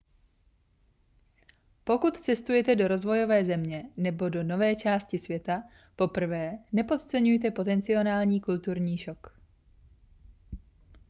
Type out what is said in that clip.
pokud cestujete do rozvojové země nebo do nové části světa poprvé nepodceňujte potenciální kulturní šok